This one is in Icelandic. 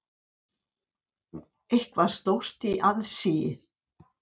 Eitthvað stórt í aðsigi.